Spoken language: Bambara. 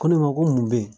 Ko ne ma ko mun be yen